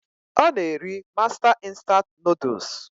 Ọ na-eri mástá instant Nụ́dúls s